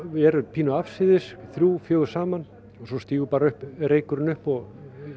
eru pínu afsíðis þrjú fjögur saman og svo stígur reykurinn upp og